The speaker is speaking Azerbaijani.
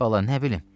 Bala, nə bilim?